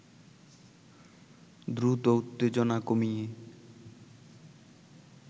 দ্রুত উত্তেজনা কমিয়ে